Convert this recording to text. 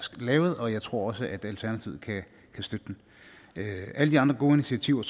lavet og jeg tror også at alternativet kan støtte den alle de andre gode initiativer